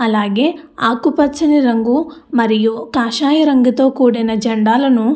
అలాగే ఆకుపచ్చని రంగు మరియు కాషాయ రంగుతో కూడిన జండాలను --